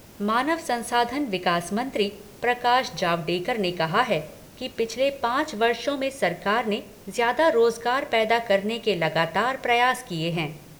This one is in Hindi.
मानव संसाधन विकास मंत्री प्रकाश जावडेकर ने कहा है कि पिछले पांच वर्षों में सरकार ने ज्यादा रोजगार पैदा करने के लगातार प्रयास किए हैं।